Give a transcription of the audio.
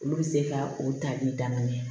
Olu bɛ se ka o tali daminɛ